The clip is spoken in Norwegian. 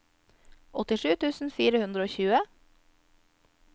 åttisju tusen fire hundre og tjue